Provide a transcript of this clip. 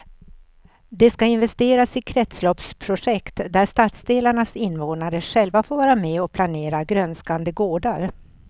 Det ska investeras i kretsloppsprojekt där stadsdelarnas invånare själva får vara med och planera grönskande gårdar.